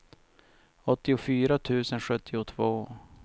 åttiofyra tusen sjuttiotvå